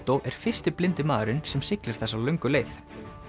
er fyrsti blindi maðurinn sem siglir þessa löngu leið